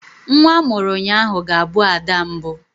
Nwa a mụrụ ụnyaahụ ga-abụ ada mbụ.